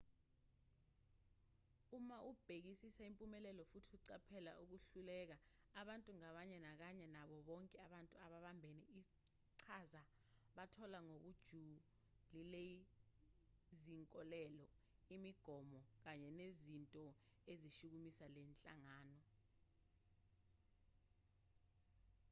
uma bebhekisisa impumelelo futhi uqaphela ukuhluleka abantu ngabanye kanye nabo bonke abantu ababambe iqhaza bathola ngokujulileizinkolelo imigomo kanye nezinto ezishukumisa le nhlangano